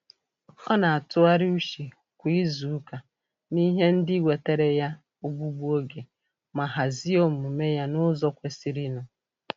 Ọ na-atụgharị uche kwa izuụka n'ihe ndị wetere ya ogbugbu oge, ma hazie omume ya n'ụzọ kwesirinụ.